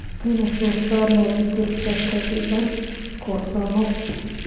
Aynu soo saarno digirta ka dibna karsano.